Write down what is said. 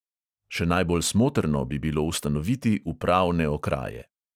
Še najbolj smotrno bi bilo ustanoviti upravne okraje.